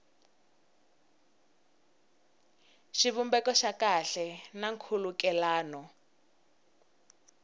xivumbeko xa kahle na nkhulukelano